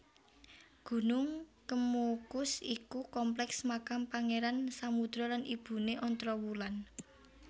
Gunung Kemukus iku kompleks makam Pangeran Samudro lan ibune Ontrowulan